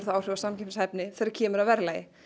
áhrif á samkeppnishæfni þegar kemur að verðlagi